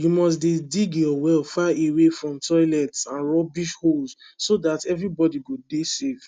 you must dey dig your well far away from toilets and rubbish holes so dat everybody go dey safe